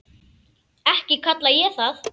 Ekki kalla ég það.